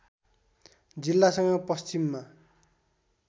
जिल्लासँग पश्चिममा